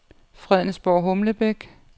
Fredensborg-Humlebæk